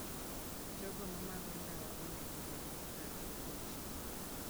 Jogo ma madho ndawa onego obed motang' gi tuoche.